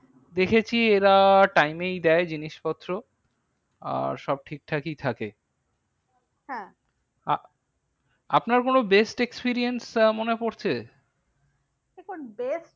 দেখেছি এরা time এই দেয় জিনিস পত্র। আর সব ঠিকঠাকই থাকে। হ্যাঁ আহ আপনার কোনো best experience মনে পরছে? দেখুন best